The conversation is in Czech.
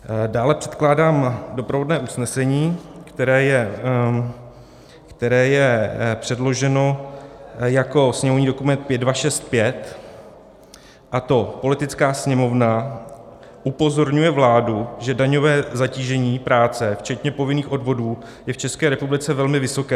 Dále předkládám doprovodné usnesení, které je předloženo jako sněmovní dokument 5265, a to: Poslanecká sněmovna upozorňuje vládu, že daňové zatížení práce včetně povinných odvodů je v České republice velmi vysoké.